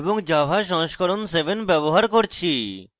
এবং java সংস্করণ 7 ব্যবহার করছি